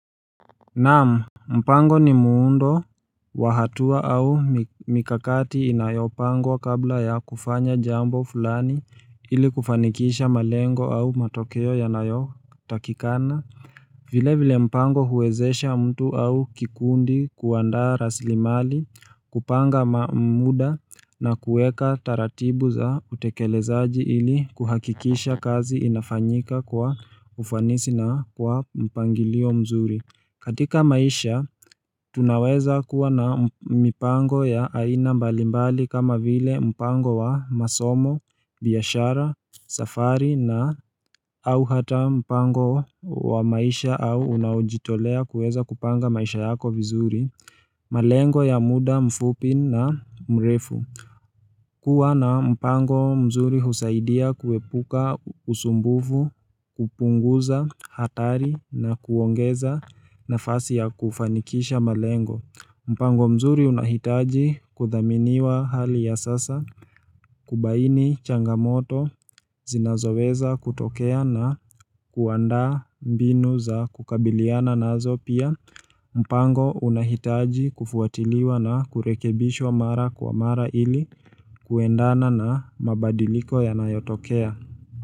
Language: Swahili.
Naam mpango ni muundo wa hatua au mikakati inayopangwa kabla ya kufanya jambo fulani ili kufanikisha malengo au matokeo yanayotakikana vile vile mpango huwezesha mtu au kikundi kuandaa raslimali kupanga ma mda na kueka taratibu za utekelezaji ili kuhakikisha kazi inafanyika kwa ufanisi na kwa mpangilio mzuri katika maisha, tunaweza kuwa na mipango ya aina mbalimbali kama vile mpango wa masomo, biashara, safari na au hata mpango wa wa maisha au unaojitolea kuweza kupanga maisha yako vizuri. Malengo ya mda mfupi na mrefu. Kuwa na mpango mzuri husaidia kuepuka usumbuvu kupunguza hatari na kuongeza nafasi ya kufanikisha malengo. Mpango mzuri unahitaji kuthaminiwa hali ya sasa kubaini changamoto zinazoweza kutokea na kuandaa mbinu za kukabiliana nazo pia. Mpango unahitaji kufuatiliwa na kurekebishwa mara kwa mara ili kuendana na mabadiliko yanayotokea.